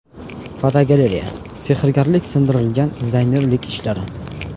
Fotogalereya: Sehrgarlik singdirilgan dizaynerlik ishlari.